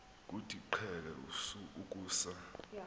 kuthi qheke ukusa